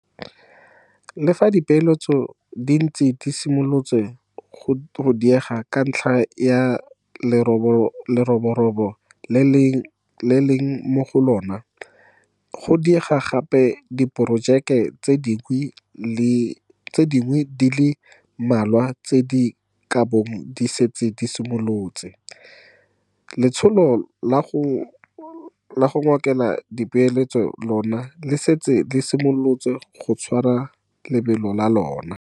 Le fa dipeeletso di ntse di simolotse go diega ka ntlha ya leroborobo le re leng mo go lona, le go diega ga diporojeke tse dingwe di le mmalwa tse di kabong di setse di simolotse, letsholo la go ngokela dipeeletso lona le setse le simolotse go tshwara lebelo la lona.